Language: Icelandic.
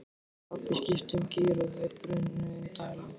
Pabbi skipti um gír og þau brunuðu inn dalinn.